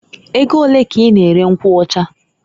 E go olee k'I na- ere nkwụ ọchaa?